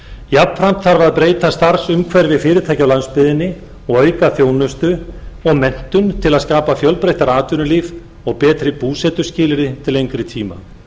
jafnframt þarf að breyta starfsumhverfi fyrirtækja á landsbyggðinni og auka þjónustu og menntun til að skapa fjölbreyttara atvinnulíf og betri búsetuskilyrði til lengri tíma